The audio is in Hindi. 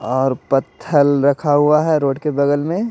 और पत्थल रखा हुआ है रोड के बगल में--